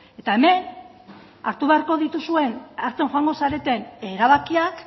eta hemen hartu beharko dituzuen hartzen joango zareten erabakiak